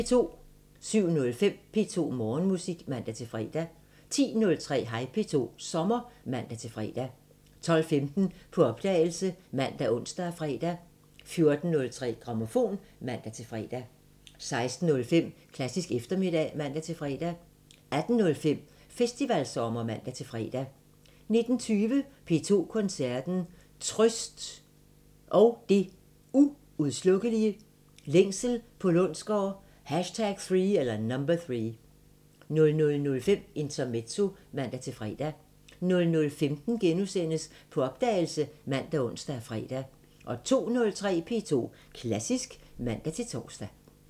07:05: P2 Morgenmusik (man-fre) 10:03: Hej P2 – sommer (man-fre) 12:15: På opdagelse ( man, ons, fre) 14:03: Grammofon (man-fre) 16:05: Klassisk eftermiddag (man-fre) 18:05: Festivalsommer (man-fre) 19:20: P2 Koncerten – Trøst & Det Uudslukkelige – Længsel på Lundsgaard #3 00:05: Intermezzo (man-fre) 00:15: På opdagelse *( man, ons, fre) 02:03: P2 Klassisk (man-tor)